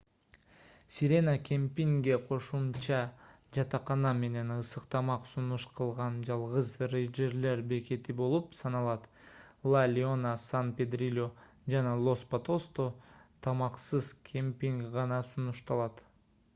сирена кемпингге кошумча жатакана менен ысык тамак сунуш кылган жалгыз рейнджерлер бекети болуп саналат ла леона сан педрильо жана лос патосто тамаксыз кемпинг гана сунушталат